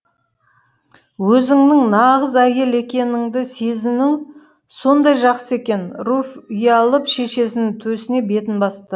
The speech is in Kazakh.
өзіңнің нағыз әйел екеніңді сезіну сондай жақсы екен руфь ұялып шешесінің төсіне бетін басты